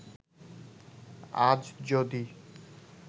আজ যদি